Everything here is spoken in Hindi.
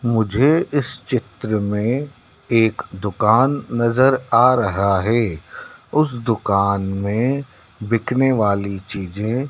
मुझे इस चित्र में एक दुकान नजर आ रहा है उस दुकान में बिकने वाली चीजें--